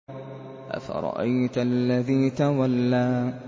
أَفَرَأَيْتَ الَّذِي تَوَلَّىٰ